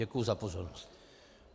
Děkuji za pozornost.